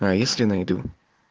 а если найду